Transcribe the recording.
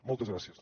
moltes gràcies